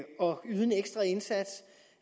yde en ekstra indsats